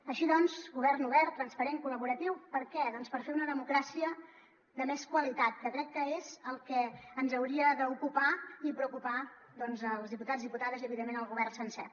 així doncs govern obert transparent col·laboratiu per a què doncs per fer una democràcia de més qualitat que crec que és el que ens hauria d’ocupar i preocupar doncs als diputats diputades i evidentment al govern sencer